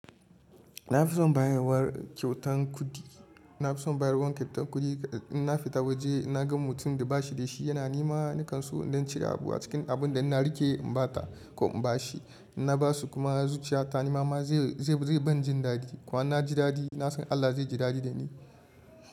Na fi son bayarwar kyautan kuɗi. Na fi son bayarwar kyautan kuɗi, in na fita waje in na ga mutumin da ba shi da shi, yana nema ni kansu in ɗan cire abu a cikin abin da ina rike in ba ta ko in ba shi. In na ba su kuma zuciya ta ni mama zai, zai, zai ban jin daɗi. Ko in na ji daɗi, na san Allah zai ji daɗi da ni.